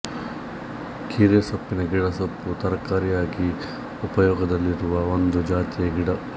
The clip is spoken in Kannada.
ಕೀರೆಸೊಪ್ಪಿನ ಗಿಡ ಸೊಪ್ಪು ತರಕಾರಿಯಾಗಿ ಉಪಯೋಗದಲ್ಲಿರುವ ಒಂದು ಜಾತಿಯ ಗಿಡ